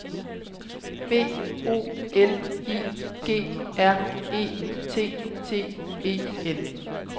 B O L I G R E T T E N